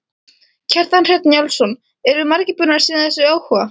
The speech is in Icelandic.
Kjartan Hreinn Njálsson: Eru margir búnir að sýna þessu áhuga?